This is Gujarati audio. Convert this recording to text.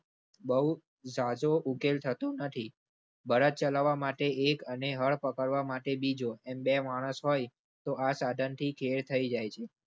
બૌ જાજો ઉકેલ થતો નથી. બળદ ચલાવવા માટે એક અને હળ પકડવા માટે બીજો બે માણસ હોય તો આ સાધન થી ખેડ થઇ જાય છે.